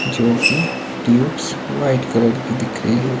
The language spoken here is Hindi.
जोकि ट्यूब्स व्हाइट कलर की दिख रही है।